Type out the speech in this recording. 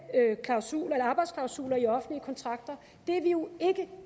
klausuler eller arbejdsklausuler i offentlige kontrakter er vi jo ikke